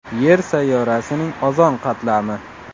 Yer sayyorasining ozon qatlami.